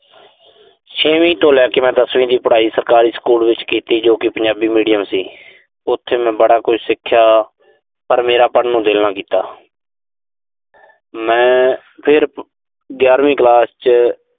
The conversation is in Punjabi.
ਛੇਵੀਂ ਤੋਂ ਲੈ ਕੇ ਦਸਵੀਂ ਦੀ ਪੜਾਈ ਮੈਂ ਸਰਕਾਰੀ ਸਕੂਲ ਵਿੱਚ ਕੀਤੀ, ਜੋ ਕਿ ਪੰਜਾਬੀ medium ਸੀ। ਉਥੇ ਮੈਂ ਬੜਾ ਕੁਝ ਸਿੱਖਿਆ। ਪਰ ਮੇਰਾ ਪੜਨ ਨੂੰ ਦਿਲ ਨਾ ਕੀਤਾ। ਮੈਂ ਫਿਰ ਗਿਆਰਵੀਂ ਕਲਾਸ ਚ